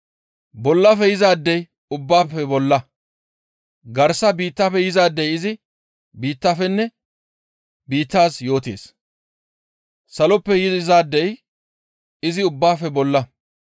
«Bollafe yizaadey ubbaafe bolla; garsa biittafe yizaadey izi biittafenne biittaaz yootees; Saloppe yizaadey izi ubbaafe bolla.